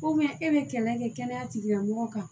e bɛ kɛlɛ kɛ kɛnɛya tigilamɔgɔw kan